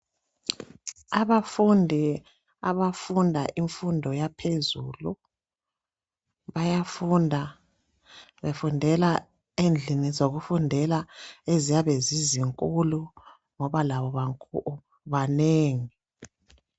Abafundi abafunda imfundo yaphezulu .Bayafunda befundela endlini zokufundela eziyabe zisesikolo ngoba labo banengi .